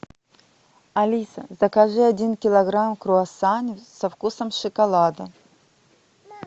алиса закажи один килограмм круассанов со вкусом шоколада